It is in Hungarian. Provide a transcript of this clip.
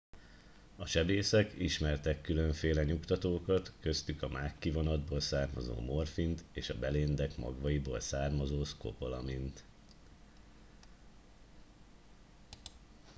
a sebészek ismertek különféle nyugtatókat köztük a mákkivonatból származó morfint és a beléndek magvaiból származó szkopolamint